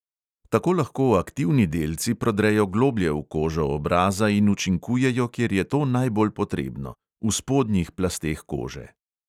Tako lahko aktivni delci prodrejo globlje v kožo obraza in učinkujejo, kjer je to najbolj potrebno: v spodnjih plasteh kože.